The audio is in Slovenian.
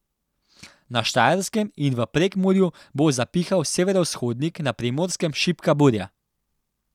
Na Štajerskem in v Prekmurju bo zapihal severovzhodnik, na Primorskem šibka burja.